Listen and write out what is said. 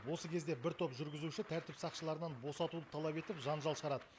осы кезде бір топ жүргізуші тәртіп сақшыларынан босатуды талап етіп жанжал шығарад